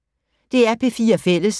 DR P4 Fælles